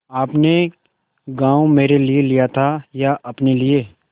आपने गॉँव मेरे लिये लिया था या अपने लिए